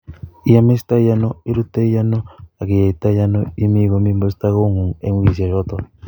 Iamistaaiano, iirutaaiano, agiiyeeitaiano, imii komii muusta koong'ung' eng' wiikisiek chootok?